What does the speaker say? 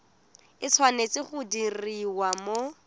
e tshwanetse go diriwa mo